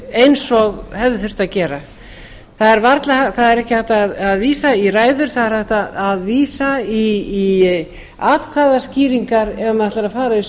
eins og hefði þurft að gera það er ekki hægt að vísa í ræður það er hægt að vísa í atkvæðaskýringar ef maður ætlar að